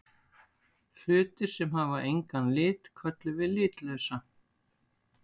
Hlutir sem hafa engan lit köllum við litlausa.